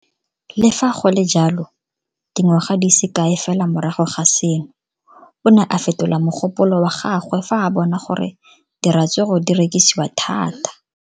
Le fa go le jalo, dingwaga di se kae fela morago ga seno, o ne a fetola mogopolo wa gagwe fa a bona gore diratsuru di rekisiwa thata.